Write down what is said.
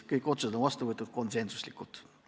Kõik otsused on vastu võetud konsensusega.